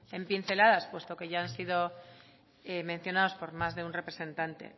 en pinceladas puesto que ya han sido mencionados por más de un representante